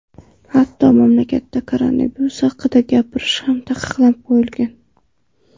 Hatto, mamlakatda koronavirus haqida gapirish ham taqiqlab qo‘yilgan.